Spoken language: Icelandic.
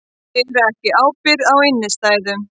Bera ekki ábyrgð á innstæðum